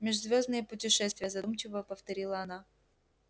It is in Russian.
межзвёздные путешествия задумчиво повторила она